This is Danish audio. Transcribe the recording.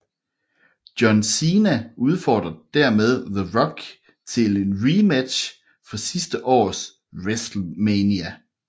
John Cena udfordrer dermed The Rock til en rematch fra sidste års WrestleMania